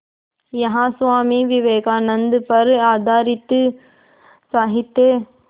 यहाँ स्वामी विवेकानंद पर आधारित साहित्य